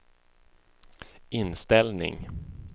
inställning